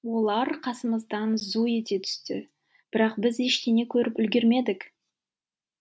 олар қасымыздан зу ете түсті бірақ біз ештеңе көріп үлгермедік